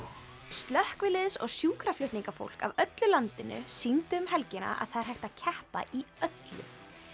slökkviliðs og sjúkraflutningafólk af öllu landinu sýndi um helgina að það er hægt að keppa í öllu